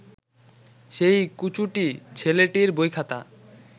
সেই কুচুটে ছেলেটির বইখাতা